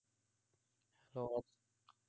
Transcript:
hello